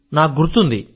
నాకు గుర్తుంది